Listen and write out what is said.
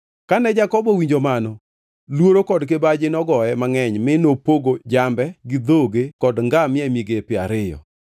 Kane Jakobo owinjo mano luoro kod kibaji nogoye mangʼeny mi nopogo jambe, gi dhoge kod ngamia e migepe ariyo.